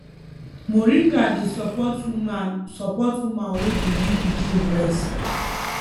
moringa dey support woman support woman wey dey give pikin breast